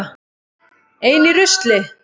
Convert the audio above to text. Ein í rusli.